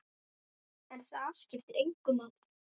En það skipti engu máli.